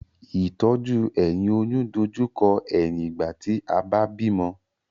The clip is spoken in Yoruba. Ìtọ́jú ẹ̀yìn oyún dojú kọ ẹ̀yìn ìgbà tí a bá bímọ